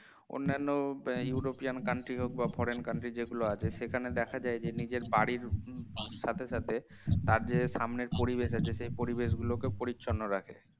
অন্যান্য um european country হোক বা foreign country যেগুলো আছে সেখানে দেখা যায় যে নিজের বাড়ির সাথে সাথে তার যে সামনের পরিবেশ আছে সেই পরিবেশগুলো পরিচ্ছন্ন রাখে